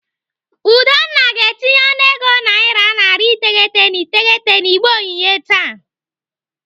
Udonna ga-etinye ọnụego naira narị iteghete na iteghete n'igbe onyinye taa.